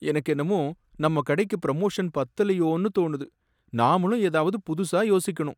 எனக்கென்னவோ நம்ம கடைக்கு ப்ரமோஷன் பத்தலயோன்னு தோணுது, நாமளும் ஏதாவது புதுசா யோசிக்கணும்